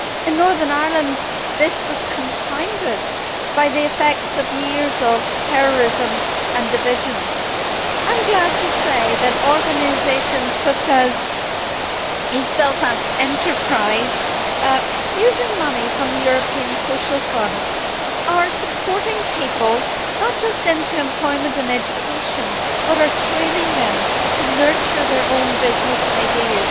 In Northern Ireland this was compounded by the effects of years of terrorism and division. I am glad to say that organisations such as East Belfast Enterprise, using money from the European Social Fund, are supporting people not only by helping them enter employment and education, but also by training them to nurture their own business ideas.